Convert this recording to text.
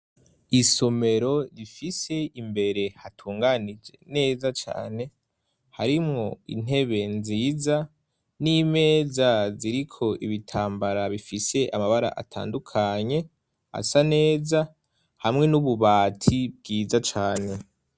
Isomero rifise imbere hatunganije neza Cane harimwo intebe nziza n'imeza ziriko ibitambara bifise amabara atandukanye asa neza hamwe n'ububati bwiza cane.